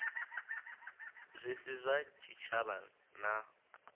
zwi si zwa tshitshavha na